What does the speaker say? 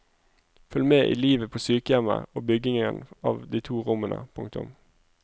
Følg med i livet på sykehjemmet og byggingen av de to rommene. punktum